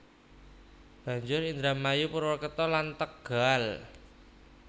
Banjur Indramayu Purwokerto lan Tegal